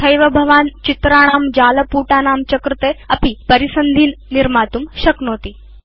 तथैव भवान् चित्राणां जालपुटानां च कृते अपि परिसन्धीन् निर्मातुं शक्नोति